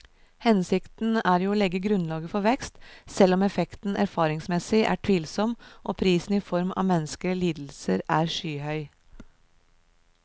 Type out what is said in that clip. Hensikten er jo å legge grunnlaget for vekst, selv om effekten erfaringsmessig er tvilsom og prisen i form av menneskelige lidelser er skyhøy.